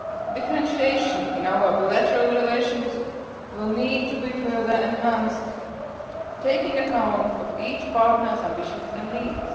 Differentiation in our bilateral relations will need to be further enhanced, taking account of each partners ambitions and needs.